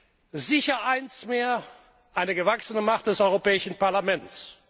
Und sicher eines mehr eine gewachsene Macht des Europäischen Parlaments.